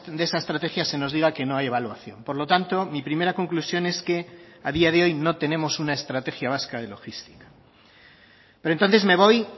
de esa estrategia se nos diga que no hay evaluación por lo tanto mi primera conclusión es que a día de hoy no tenemos una estrategia vasca de logística pero entonces me voy